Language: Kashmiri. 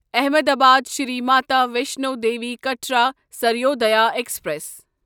احمدآباد شری ماتا ویشنو دیٖوی کٹرا سروودایا ایکسپریس